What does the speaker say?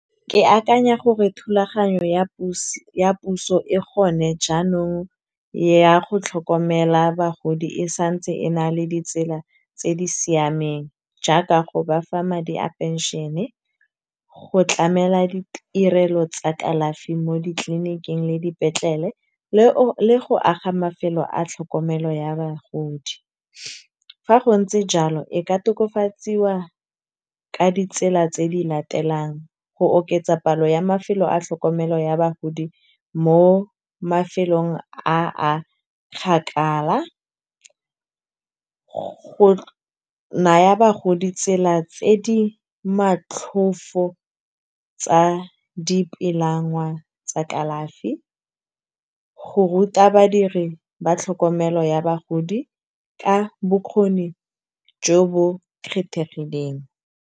Ke akanya gore thulaganyo ya puso e gone jaanong ya go tlhokomela bagodi e santse e na le ditsela tse di siameng. Jaaka go bafa madi a pension-e, go tlamela ditirelo tsa kalafi mo ditleniking le di petlele le go aga mafelo a tlhokomelo ya bagodi. Fa go ntse jalo e ka tokafatsiwa ka ditsela tse di latelang, go oketsa palo ya mafelo a tlhokomelo ya bagodi mo mafelong a kgakala, go naya bagodi tsela tse di matlhofo tsa tsa kalafi. Go ruta badiri ba tlhokomelo ya bagodi ka bokgoni jo bo kgethegileng.